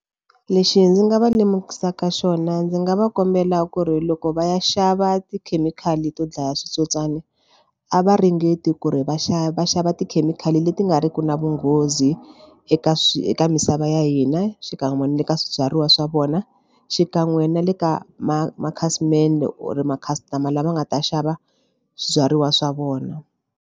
Lexi ndzi nga va lemukisaka xona ndzi nga va kombela ku ri loko va ya xava tikhemikhali to dlaya switsotswana a va ringeti ku ri va xava va xava tikhemikhali leti nga riki na vunghozi eka swi eka misava ya hina xikan'we na le ka swibyariwa swa vona xikan'we na le ka ma makhasimende or ma customer lama nga ta xava swibyariwa swa vona.